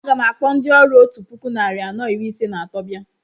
A gam akpọ ndị ọrụ otú puku narị anọ iri ise na atọ bia